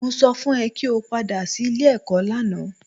Mo sọ fún ẹ kí o padà sí ilé-ẹ̀kọ́ lánàá